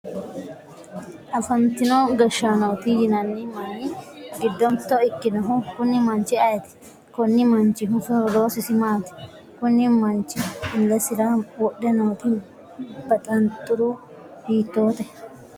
afantino gashshaanooti yinanni manni giddo mitto ikkinohu kuni manchi ayeeti? konni manchihu loosisi maati? kuni manchi illesira wodhe nooti baxanxure hiittoote?